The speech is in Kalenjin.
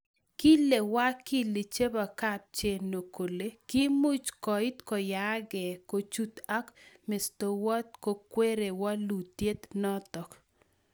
Kile Wakili chebo Kapcheno kole kimuch koit koyaan gee kuchut ak mestowet kokweri walutiet notok